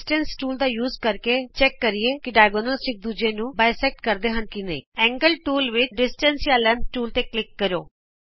distance tool ਦਾ ਇਸਤੇਮਾਲ ਕਰਦਿਆਂ ਆਉ ਜਾਂਚ ਕਰੀਏ ਕਿ ਕੀ ਵਿਕਰਣ ਇਕ ਦੂਜੇ ਨੂੰ ਦੋਭੁਜ ਕਰਦੇ ਹਨ ਐਂਗਲ ਟੂਲ ਵਿਚ ਡਿਸਟੇਂਸ ਜਾਂ ਲੈਂਥ ਟੂਲ ਤੇ ਕਲਿਕ ਕਰੋ